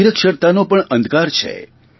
નિરક્ષરતાનો પણ અંધકાર છે